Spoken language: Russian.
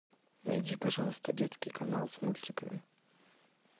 найди пожалуйста детский канал с мультиками